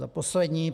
Za poslední.